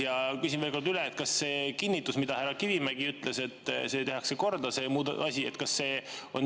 Ja küsin veel kord üle: kas härra Kivimägi kinnitus, et see asi tehakse korda, on jõus?